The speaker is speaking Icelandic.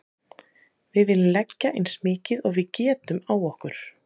Við viljum leggja eins mikið og við getum á okkur.